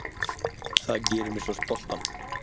Það gerir mig svo stoltan.